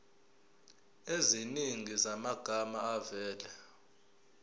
eziningi zamagama avela